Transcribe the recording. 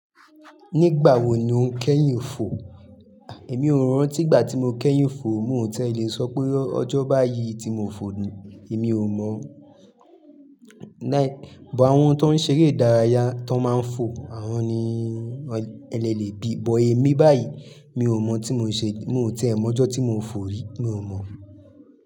Nígbà wo ni o kẹ́yìn fo? Ah emi ò rántí ìgbà tí mo kẹ́yìn fo o, mo ti ẹ́ lẹ̀ sọ pé ọjọ́ báyìí tí mo fò ni, èmi ò mọ̀. Like-- but àwọn tó ń ṣeré ìdárayá tó máa ń fò, àwọn ni ẹ́ de lẹ́ bí but èmi báyìí, mi ò mọ tí mo ṣe, mo ò ti e mọ̀ ọjọ́ tí mo fò rí, mi o mọ̀.